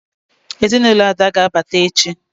ezinulo Ada ga-abata echi